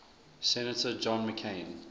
senator john mccain